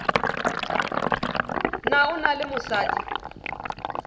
na o na le mosadi